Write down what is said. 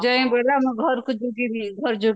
ଘରକୁ